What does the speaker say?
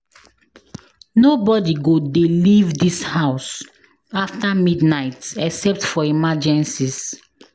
Nobody go dey leave dis house after midnight except for emergencies